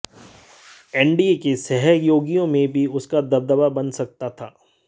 NDA के सहयोगियों में भी उसका दबदबा बन सकता था